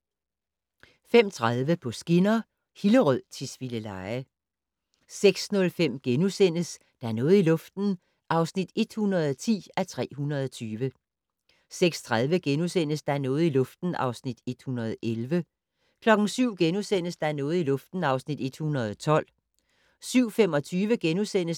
05:30: På skinner: Hillerød-Tisvildeleje 06:05: Der er noget i luften (110:320)* 06:30: Der er noget i luften (111:320)* 07:00: Der er noget i luften (112:320)* 07:25: